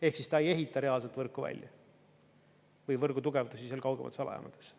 Ehk siis ta ei ehita reaalselt võrku välja või võrgu tugevdusi kaugemates alajamades.